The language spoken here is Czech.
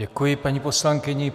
Děkuji paní poslankyni.